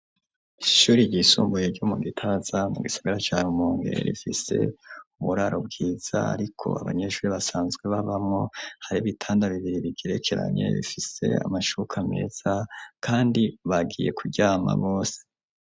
Ishure ry'isumbuye ryo mu gitaza mu gisigara carumongere rifise uburaro bwiza ariko abanyeshure basanzwe babamwo hari ibitanda bigirekeranye bifise amashuka meza kandi bagiye kuryama bose.